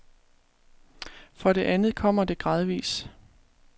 For det andet kommer det gradvis.